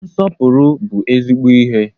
Nsọpụrụ bụ ezigbo ihe.